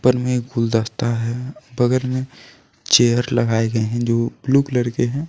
बगल मे गुलदस्ता है बगल में चेयर लगाए गए हैं जो ब्लू कलर के है।